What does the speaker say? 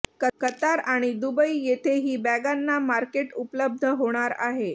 Qatar आणि Dubai येथेही बॅगांना मार्केट उपलब्ध होणार आहे